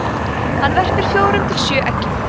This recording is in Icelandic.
hann verpir fjórir til sjö eggjum